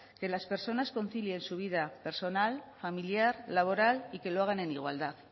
que las personas concilien su vida personal familiar laboral y que lo hagan en igualdad